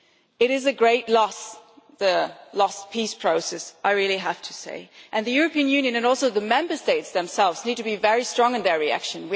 It is a great loss, the lost peace process, I really have to say, and the European Union and also the Member States themselves need to be very strong in their reaction.